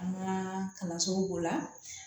An ka kalansow b'o la